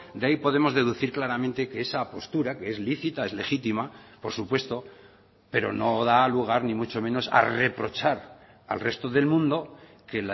de ahí podemos deducir claramente que esa postura que es lícita es legítima por supuesto pero no da lugar ni mucho menos a reprochar al resto del mundo que